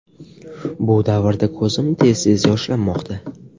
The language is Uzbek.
Bu davrda ko‘zim tez tez yoshlanmoqda.